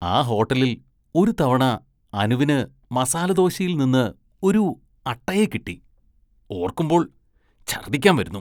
ആ ഹോട്ടലില്‍ ഒരു തവണ അനുവിന് മസാലദോശയില്‍ നിന്ന് ഒരു അട്ടയെ കിട്ടി, ഓര്‍ക്കുമ്പോള്‍ ഛര്‍ദ്ദിക്കാന്‍ വരുന്നു.